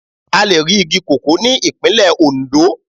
A lè rí igi koko ní Ìpínlẹ̀ Ondo.